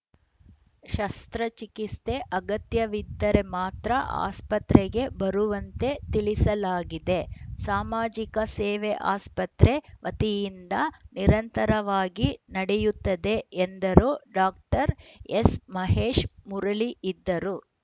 ಶಸ್ತ್ರಚಿಕಿತ್ಸೆ ಅಗತ್ಯವಿದ್ದರೆ ಮಾತ್ರ ಆಸ್ಪತ್ರೆಗೆ ಬರುವಂತೆ ತಿಳಿಸಲಾಗಿದೆ ಸಾಮಾಜಿಕ ಸೇವೆ ಆಸ್ಪತ್ರೆ ವತಿಯಿಂದ ನಿರಂತರವಾಗಿ ನಡೆಯುತ್ತದೆ ಎಂದರು ಡಾಕ್ಟರ್ ಎಸ್‌ಮಹೇಶ್‌ ಮುರಳಿ ಇದ್ದರು